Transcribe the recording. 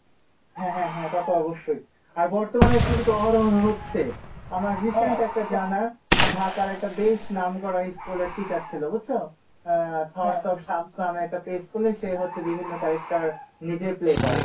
হ্যাঁ হ্যাঁ হ্যাঁ এটা তো অবশ্যই আর বর্তমানে এরকম কিন্তু হচ্ছে আমার recent একটা জানা ঢাকার একটা বেশ নাম করা school এর teacher ছিলো বুঝছো? আহ school এ সে হচ্ছে বিভিন্ন character নিজে play করে,